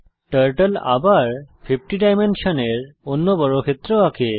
turtle আবার 50 ডাইমেনশনের অন্য বর্গক্ষেত্র আঁকে